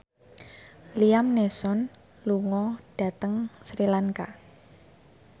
Liam Neeson lunga dhateng Sri Lanka